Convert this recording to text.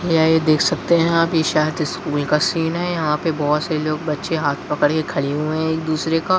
यहाँ ये देख सकते है आप ये शायद स्कूल का सीन है यहाँ पे बहुत सारे लोग बच्चे हाथ पकड़े खड़े हुए हैं एक दूसरे का --